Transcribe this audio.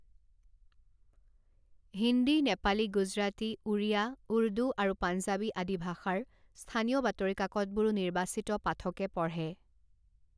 হিন্দী, নেপালী, গুজৰাটী, ওড়িয়া, উৰ্দু আৰু পাঞ্জাৱী আদি ভাষাৰ স্থানীয় বাতৰি কাকতবোৰো নিৰ্বাচিত পাঠকে পঢ়ে।